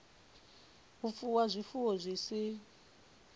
u fuwa zwifuwo zwi si